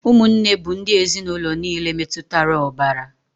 Ụmụnne bụ ndị ezinụlọ niile metụtara ọbara.